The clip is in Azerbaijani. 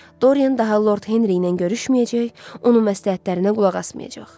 Dorian daha Lord Henri ilə görüşməyəcək, onun məsləhətlərinə qulaq asmayacaq.